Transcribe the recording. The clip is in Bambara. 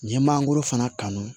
N ye mangoro fana kanu